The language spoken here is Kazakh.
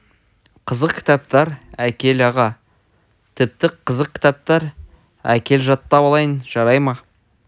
қызық кітаптар әкел аға тіпті қызық кітаптар әкел жаттап алайын жарай ма